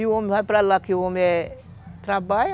E o homem vai para lá que o homem trabalha,